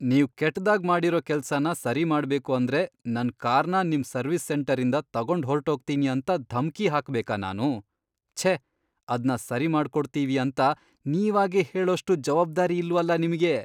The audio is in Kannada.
ನೀವ್ ಕೆಟ್ದಾಗ್ ಮಾಡಿರೋ ಕೆಲ್ಸನ ಸರಿಮಾಡ್ಬೇಕು ಅಂದ್ರೆ ನನ್ ಕಾರ್ನ ನಿಮ್ ಸರ್ವಿಸ್ ಸೆಂಟರಿಂದ ತಗೊಂಡ್ಹೊರ್ಟೋಗ್ತೀನಿ ಅಂತ ಧಮಕಿ ಹಾಕ್ಬೇಕಾ ನಾನು? ಛೇ, ಅದ್ನ ಸರಿ ಮಾಡ್ಕೊಡ್ತೀವಿ ಅಂತ ನೀವಾಗೇ ಹೇಳೋಷ್ಟೂ ಜವಾಬ್ದಾರಿ ಇಲ್ವಲ ನಿಮ್ಗೆ!